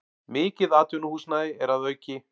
Mikið atvinnuhúsnæði er að auki